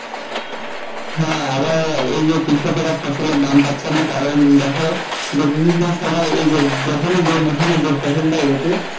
হ্যাঁ আবার এই যে কৃষকেরা ফসলের দাম পাচ্ছে না কারণ দেখো যে বিভিন্ন সময়ে এ যে যখনি যে মৌসুমে যে ফসল টা উঠুক